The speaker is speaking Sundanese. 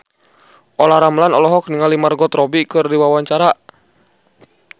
Olla Ramlan olohok ningali Margot Robbie keur diwawancara